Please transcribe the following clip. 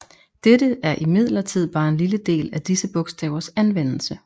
Dette er imidlertid bare en lille del af disse bogstavers anvendelse